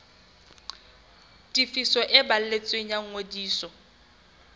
tefiso e balletsweng ya ngodiso